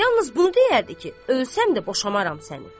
Yalnız bunu deyərdi ki, ölsəm də boşamaram səni.